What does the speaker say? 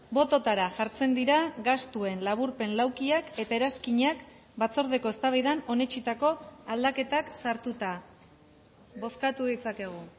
bototara jartzen dira gastuen laburpen laukiak eta eranskinak batzordeko eztabaidan onetsitako aldaketak sartuta bozkatu ditzakegu